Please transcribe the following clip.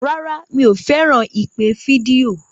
Rárá, mi ò fẹ́ràn ìpè fídíò.